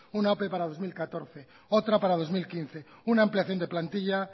una ope para dos mil catorce otra para dos mil quince una ampliación de plantilla